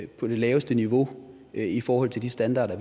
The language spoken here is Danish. på det laveste niveau i forhold til de standarder